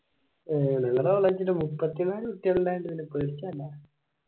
മുപ്പത്തിനാല്